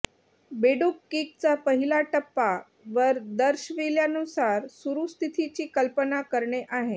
बेडूक किकचा पहिला टप्पा वर दर्शविल्यानुसार सुरु स्थितीची कल्पना करणे आहे